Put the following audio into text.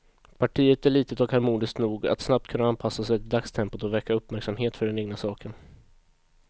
Partiet är litet och harmoniskt nog att snabbt kunna anpassa sig till dagstempot och väcka uppmärksamhet för den egna saken.